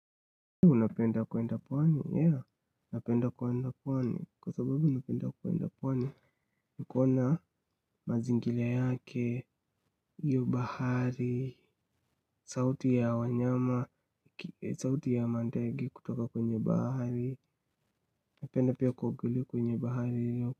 Unapenda kuenda pwani? Yeah, napenda kuenda pwani, kwa sababu napenda kuenda pwani, kuona mazingira yake, hiyo bahari, sauti ya wanyama, sauti ya mandege kutoka kwenye bahari, napenda pia kuogelea kwenye bahari hiyo.